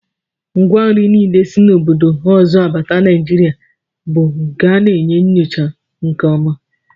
Ngwa nri niile si obodo ọzọ abata Naijiria bụ nke a na-enyocha nke ọma